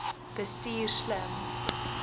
bestuur slim